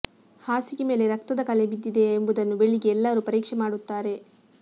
ಹಾಸಿಗೆ ಮೇಲೆ ರಕ್ತದ ಕಲೆ ಬಿದ್ದಿದೆಯಾ ಎಂಬುದನ್ನು ಬೆಳಿಗ್ಗೆ ಎಲ್ಲರೂ ಪರೀಕ್ಷೆ ಮಾಡುತ್ತಾರೆ